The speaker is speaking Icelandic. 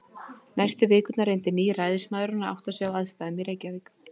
Næstu vikurnar reyndi nýi ræðismaðurinn að átta sig á aðstæðum í Reykjavík.